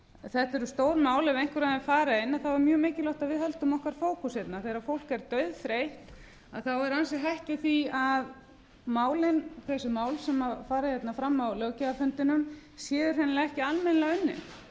þetta eru stór mál og ef einhver þeirra verða til umræðu er mjög mikilvægt að við höldum fókus okkar þegar fólk er dauðþreytt er ansi hætt við því að þau mál sem rætt er um á löggjafarfundinum séu ekki